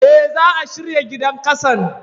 Eh, za'a shirya gidan ƙasan.